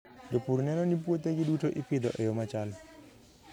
Jopur neno ni puothegi duto ipidho e yo machal.